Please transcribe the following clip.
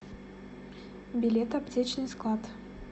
билет аптечный склад